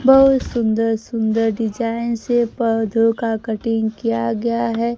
बहोत सुंदर सुंदर डिजाइन से पौधों का कटिंग किया गया है।